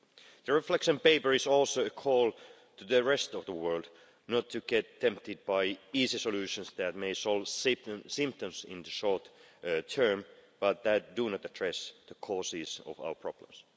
The reflection paper is also a call to the rest of the world not to get tempted by easy solutions that may solve symptoms in the short term but that do not address the causes of our problems.